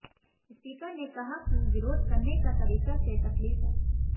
speaker ने कहा कि विरोध करने का तरीका से तकलीफ है